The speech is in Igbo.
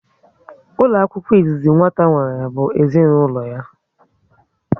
Ụlọ akwụkwọ izizi nwata nwere bụ ezinaụlọ ya